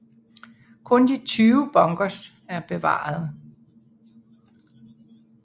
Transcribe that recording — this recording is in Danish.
Kun de 20 bunkers er bevarede